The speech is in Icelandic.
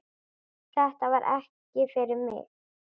Þetta var ekki fyrir mig